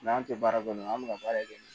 an tɛ baara kɛ n'o ye an bɛ ka baara kɛ